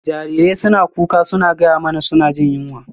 Jarirai suna kuka suna gaya mana suna jin yunwa.